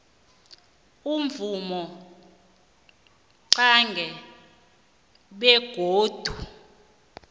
imvumo qange begodu